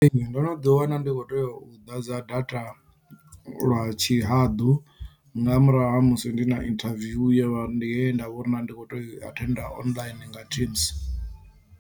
Ee ndo no ḓi wana ndi khou tea u ḓadza data lwa tshihaḓu nga murahu ha musi ndi na interview ndi ye nda vhona ndi khou tea u i attend online nga teams.